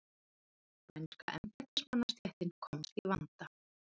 Spænska embættismannastéttin komst í vanda.